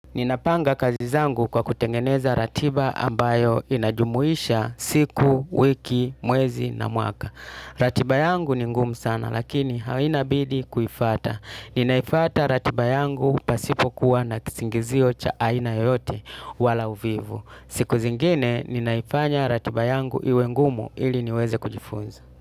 Ninapanga kazi zangu kwa kutengeneza ratiba ambayo inajumuisha siku, wiki, mwezi na mwaka. Ratiba yangu ni ngumu sana lakini haina bidi kuifata. Ninaifata ratiba yangu pasipokuwa na kisingizio cha aina yoyote wala uvivu. Siku zingine ninaifanya ratiba yangu iwe ngumu ili niweze kujifunza.